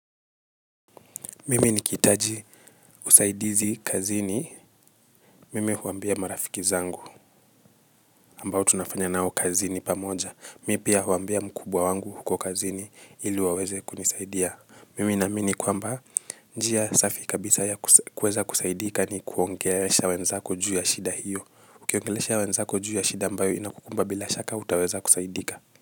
Mimi nikihitaji usaidizi kazini. Mimi huambia marafiki zangu ambao tunafanya nao kazini pamoja. Mimi pia uambia mkubwa wangu huko kazini ili waweze kunisaidia. Mimi naamini kwamba njia safi kabisa ya kuweza kusaidika ni kuongelesha wenzako juu ya shida hiyo. Ukiongelesha wenzako juu ya shida ambayo inakukumba bila shaka utaweza kusaidika.